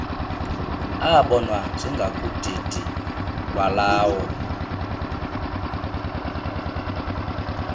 abonwa njengakudidi lwalawo